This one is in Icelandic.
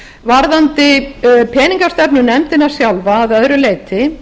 varðandi peningastefnunefndina sjálfa að öðru leyti